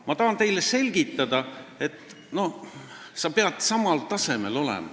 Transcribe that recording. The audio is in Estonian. Ma tahan teile selgitada, et sa pead samal tasemel olema.